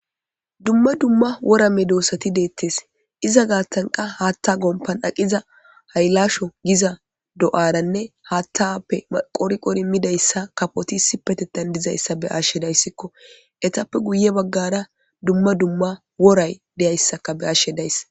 Dumma dumma wora medosati de'etees iza gaatan qa haatta gompan aqiza haylasho giza do'aranne haattape qori qori midayssa kafoti isipetethan dizayssa be'ashe de'aysiko etappe guye bagaara dumma dumma woray de'iyayssaka be'ashe days.